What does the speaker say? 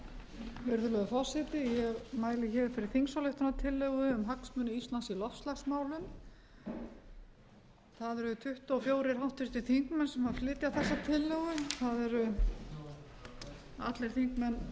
forseti ég mæli hér fyrir þingsályktunartillögu um hagsmuni íslands í loftslagsmálum það eru tuttugu og fjögur háttvirtir þingmenn sem flytja þessa tillögu það eru allir þingmenn